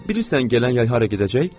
Bilirsən gələn yay hara gedəcək?